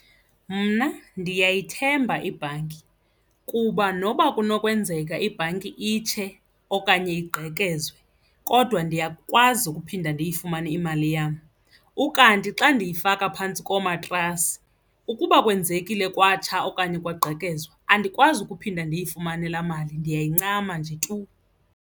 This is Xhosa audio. Mna ndiyayithemba ibhanki kuba noba kunokwenzeka ibhanki itshe okanye igqekezwe kodwa ndiyakwazi ukuphinda ndiyifumane imali le yam. Ukanti xa ndiyifaka phantsi komatrasi, ukuba kwenzekile kwatsha okanye kwagqekezwa, andikwazi ukuphinda ndiyifumane laa mali ndiyayincama nje tu.